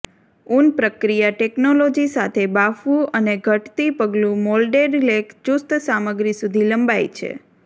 ઉન પ્રક્રિયા ટેકનોલોજી સાથે બાફવું અને ઘટતી પગલું મોલ્ડેડ લેખ ચુસ્ત સામગ્રી સુધી લંબાય છે